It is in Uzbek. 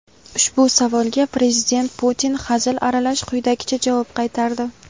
Ushbu savolga Prezident Putin hazil aralash quyidagicha javob qaytardi:.